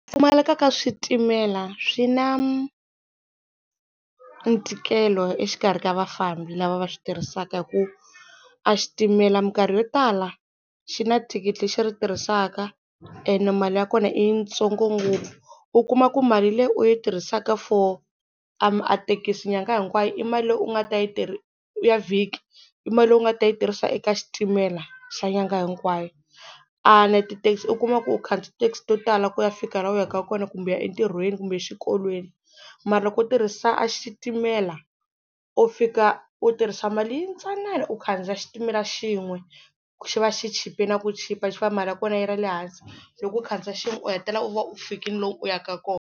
Ku pfumaleka ka switimela swi na ntikelo exikarhi ka vafambi lava va switirhisaka hi ku a xitimela minkarhi yo tala xi na thikithi lexi ri tirhisaka ene mali ya kona i yitsongo ngopfu u kuma ku mali leyi u yi tirhisaka for a thekisi nyangha hinkwayo i mali leyi u nga ta yi ya vhiki i mali leyi u nga ta yi tirhisa eka xitimela xa nyangha hinkwayo. tithekisi u kuma ku u khandziya ti-taxi to tala ku ya fika la u yaka kona kumbe u ya entirhweni kumbe xikolweni, mara loko u tirhisa xitimela u fika u tirhisa mali yintsanana u khandziya xitimela xin'we xi va xi chipile na ku chipa xi va mali ya kona yi ri le hansi loko u khandziya xin'we u hetelela u va u fikile lomu u yaka kona.